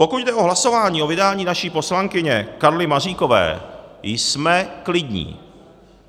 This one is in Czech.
Pokud jde o hlasování o vydání naší poslankyně Karly Maříkové, jsme klidní.